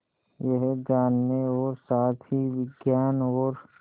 यह जानने और साथ ही विज्ञान और